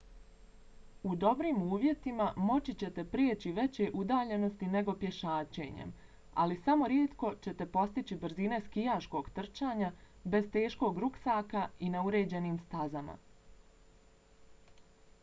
u dobrim uvjetima moći ćete preći veće udaljenosti nego pješačenjem ali samo rijetko ćete postići brzine skijaškog trčanja bez teškog ruksaka i na uređenim stazama